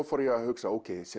fór ég að hugsa